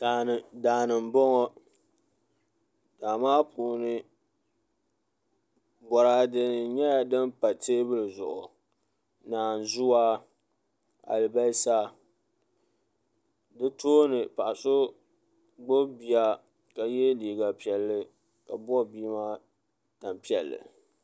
Daani n boŋo daa maa puuni boraadɛ nyɛla din pa teebulu zuɣu naanzuwa alibarisa bi tooni paɣa so gbubi bia ka yɛ liiga piɛlli ka bob bia maa tanpiɛlli